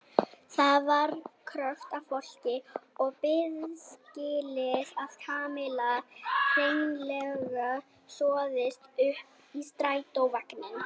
Það var krökkt af fólki við biðskýlið og Kamilla hreinlega sogaðist upp í strætisvagninn.